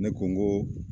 Ne ko n ko